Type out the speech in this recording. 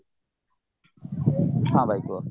ହଁ ଭାଇ କୁହ